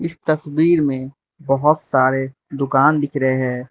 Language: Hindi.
इस तस्वीर में बहोत सारे दुकान दिख रहे हैं।